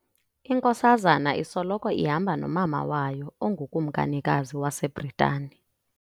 Inkosazana isoloko ihamba nomama wayo ongukumkanikazi waseBritani.